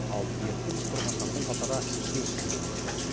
ал дертті жұқтырғандардың қатары төрт мыңнан асты